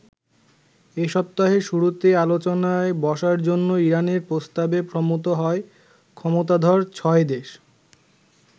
এ সপ্তাহের শুরুতে আলোচনায় বসার জন্য ইরানের প্রস্তাবে সম্মত হয় ক্ষমতাধর ছয় দেশ।